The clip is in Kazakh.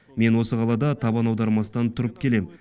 мен осы қалада табан аудармастан тұрып келем